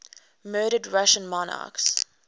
murdered russian monarchs